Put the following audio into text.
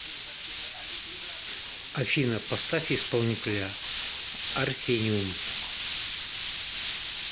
афина поставь исполнителя арсениум